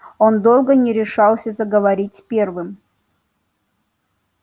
он долго не решался заговорить первым